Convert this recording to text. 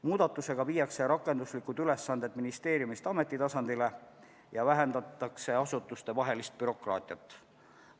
Muudatusega viiakse rakenduslikud ülesanded ministeeriumi tasandilt ameti tasandile ja vähendatakse asutustevahelist bürokraatiat.